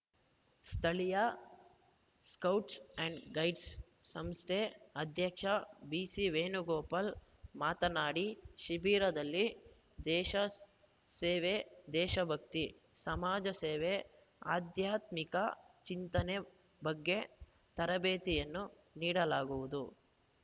ಸ್ಥಳೀಯ scouts and ಗೈಡ್ಸ್‌ಸಂಸ್ಥೆ ಅಧ್ಯಕ್ಷ ಬಿಸಿ ವೇಣುಗೋಪಾಲ್‌ ಮಾತನಾಡಿ ಶಿಬಿರದಲ್ಲಿ ದೇಶ ಸೇವೆ ದೇಶಭಕ್ತಿ ಸಮಾಜ ಸೇವೆ ಆಧ್ಯಾತ್ಮಿಕ ಚಿಂತನೆ ಬಗ್ಗೆ ತರಬೇತಿಯನ್ನು ನೀಡಲಾಗುವುದು